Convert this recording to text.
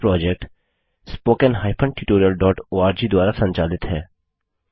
यह project httpspoken tutorialorg द्वारा संचालित है